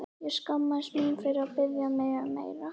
Ég skammaðist mín fyrir að biðja um meira.